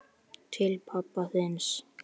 Til pabba þíns.